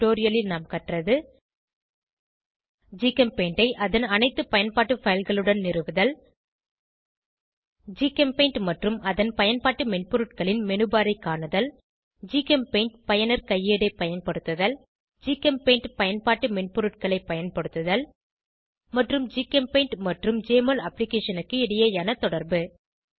இந்த டுடோரியலில் நாம் கற்றது ஜிகெம்பெயிண்டை அதன் அனைத்து பயன்பாட்டு fileகளுடன் நிறுவுதல் ஜிகெம்பெயிண்ட் மற்றும் அதன் பயன்பாட்டு மென்பொருட்களின் மெனுபர் ஐ காணுதல் ஜிகெம்பெயிண்ட் பயனர் கையேடை பயன்படுத்துதல் ஜிகெம்பெயிண்ட் பயன்பாட்டு மென்பொருட்களை பயன்படுத்துதல் மற்றும் ஜிகெம்பெயிண்ட் மற்றும் ஜெஎம்ஒஎல் அப்ளிகேஷனுக்கு இடையேயான தொடர்பு